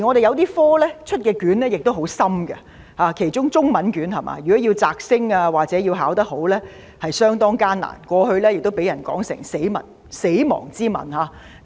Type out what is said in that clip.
有些學科的試卷亦很艱深，尤其是中文科。如果要"摘星"或考得好，是相當艱難的，過去亦被人說成是"死亡之吻"。